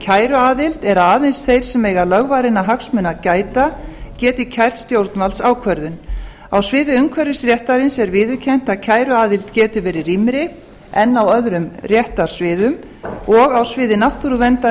kæruaðild er að aðeins þeir sem eiga lögvarinna hagsmuna að gæta geti kært stjórnvaldsákvörðun á sviði umhverfisréttarins er viðurkennt að kæruaðild geti verið rýmri en á öðrum réttarsviðum og á sviði náttúruverndar